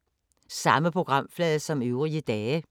Samme programflade som øvrige dage